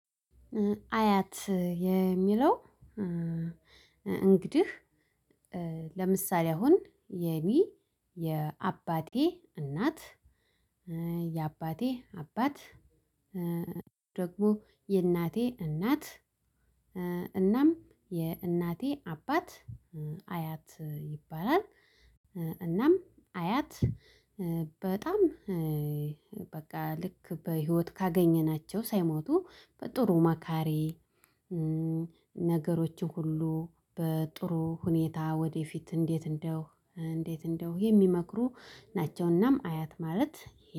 አያት የሚለው እንግዲህ ለምሳሌ አሁን የኔ የአባቴ እናት የአባቴ አባት ደግሞ የእናቴ እናት እናም የእናቴ አባት አያት ይባላል። እናም አያት በጣም በቃ ልክ በህይወት ካገኘናቸው ሳይሞቱ በጥሩ መካሬዬ። ነገሮችን ሁሉ በጥሩ ሁኔታ ወደፊት እንዴት እንደው እንዴት እንደው የሚመክሩ ናቸውናም አያት ማለት።